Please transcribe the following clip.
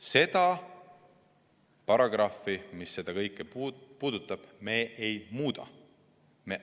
Seda paragrahvi, mis seda kõike puudutab, me ei muuda.